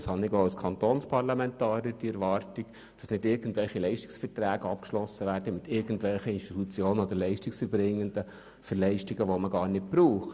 Ich habe auch als Kantonsparlamentarier die Erwartung, dass nicht beliebig Leistungsverträge mit irgendwelchen Institutionen vereinbart werden, die man gar nicht braucht.